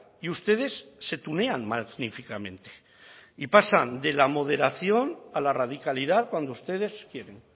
y ustedes se tunean magníficamente y pasan de la moderación a la radicalidad cuando ustedes quieren